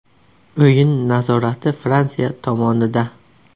O‘yin nazorati Fransiya tomonida.